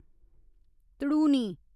धड़ूनी